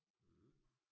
Øh